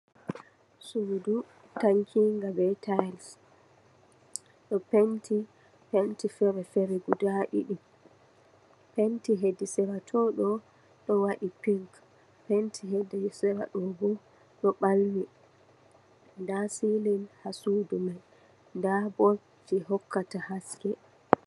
Suudu tankiika bee taays, ɗo penti penti feere-feere gudaa ɗiɗi, penti hedi sera too ɗo, ɗo waɗi pink penti, hedi ɗo boo ɗo ɓalwi, ndaa siilin haa suudu man ndaa bol jey hokkata haske.